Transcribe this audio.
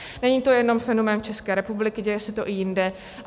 Není to jenom fenomén České republiky, děje se to i jinde.